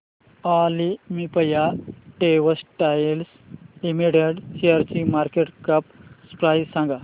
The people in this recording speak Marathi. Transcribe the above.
ऑलिम्पिया टेक्सटाइल्स लिमिटेड शेअरची मार्केट कॅप प्राइस सांगा